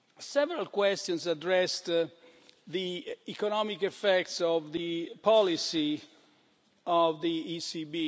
Several questions addressed the economic effects of the policy of the ECB.